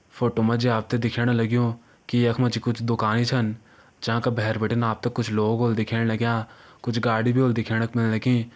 Photo मा जी आप त दिखेण लग्युं की यख मा जी कुछ दुकानी छन जांका भैर बिटिन कुछ लोग होला दिखेण लग्यां कुछ गाड़ी भी होली दिखेण क मिलण की।